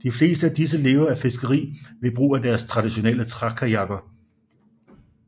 De fleste af disse lever af fiskeri ved brug af deres traditionelle trækajakker